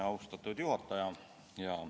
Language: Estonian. Austatud juhataja!